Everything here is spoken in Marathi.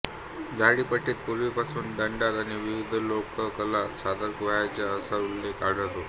झाडीपट्टीत पूर्वीपासून दंडार आणि विविध लोककला सादर व्हायच्या असा उल्लेख आढळतो